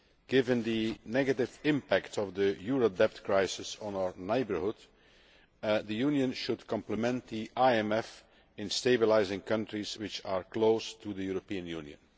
Given the negative impact of the euro debt crisis on our neighbourhood, the Union should complement the IMF in stabilising countries which are close to the European Union.